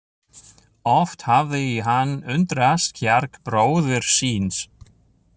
Oft hafði hann undrast kjark bróður síns.